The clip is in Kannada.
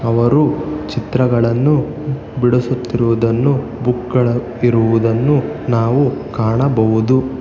ಅವರು ಚಿತ್ರಗಳನ್ನು ಬಿಡಿಸುತ್ತಿರುವುದನ್ನೂ ಬುಕ್ ಗಳು ಇರುವುದನ್ನು ನಾವು ಕಾಣಬಹುದು.